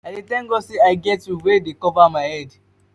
i dey thank god sey i get roof wey cover my head.